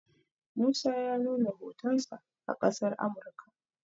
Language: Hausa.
musa ya nuna hotonsa a ƙasar Amurka